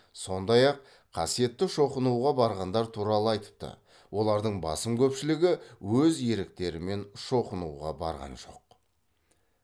сондай ақ қасиетті шоқынуға барғандар туралы айтыпты олардың басым көпшілігі өз еріктерімен шоқынуға барған жоқ